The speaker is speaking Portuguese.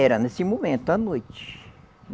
Era nesse momento, à noite.